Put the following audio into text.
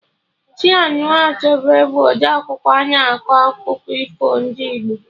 Chinua Achebe bụ ọdee akwụkwọ na akọ akụkọ ifo ndị Igbo